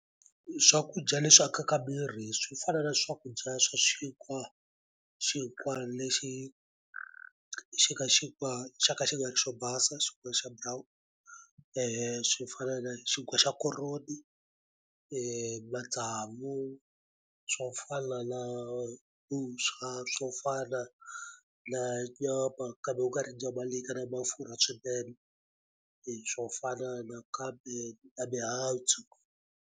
Swakudya leswi akaka miri swi fana na swakudya swa xinkwa xinkwa lexi xi nga xinkwa xa ka xi nga ri xo basa xinkwa xa brown swi fana na xinkwa xa koroni matsavu swo fana na vuswa swo fana na nyama kambe ku nga ri nyama leyi nga na mafurha swinene hi swo fana nakambe na mihandzu.